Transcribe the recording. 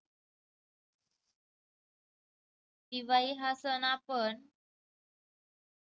दिवाळी हा सण आपण